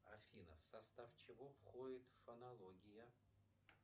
афина в состав чего входит фонология